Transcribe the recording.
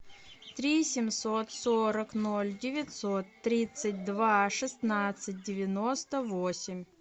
три семьсот сорок ноль девятьсот тридцать два шестнадцать девяносто восемь